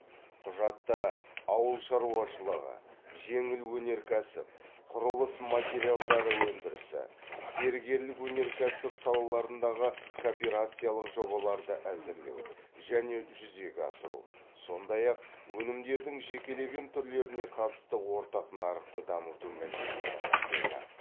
құжатта ауыл шаруашылығы жеңіл өнеркәсіп құрылыс материалдары өндірісі зергерлік өнеркәсіп салаларындағы кооперациялық жобаларды әзірлеу және жүзеге асыру сондай ақ өнімдердің жекелеген түрлеріне қатысты ортақ нарықты дамыту мәселелері қамтылды